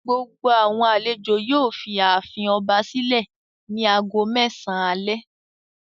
Gbogbo àwọn àlejò yóò fi ààfin ọba sílẹ̀ ní ago mẹ́sàn-án alẹ́.